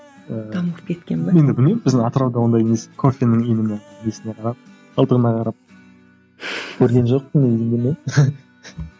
ыыы дамып кеткен бе енді білмеймін біздің атырауда ондай несі кофенің именно несіне қарап қалдығына қарап көрген жоқпын енді білмеймін